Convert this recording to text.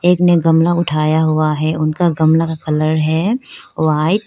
एक ने गमला उठाया हुआ है उनका गमला का कलर है व्हाइट ।